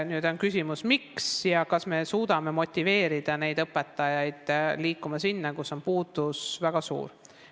Nüüd on küsimus, miks see nii on ja kas me suudame motiveerida neid õpetajaid liikuma sinna, kus on väga suur õpetajate puudus.